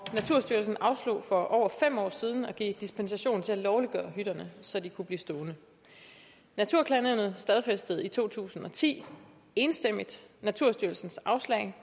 naturstyrelsen afslog for over fem år siden at give dispensation til at lovliggøre hytterne så de kunne blive stående naturklagenævnet stadfæstede i to tusind og ti enstemmigt naturstyrelsens afslag